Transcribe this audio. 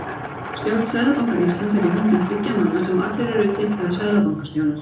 Stjórn Seðlabanka Íslands er í höndum þriggja manna sem allir eru titlaðir seðlabankastjórar.